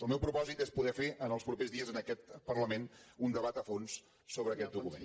el meu propòsit és poder fer en els propers dies en aquest parlament un debat a fons sobre aquest document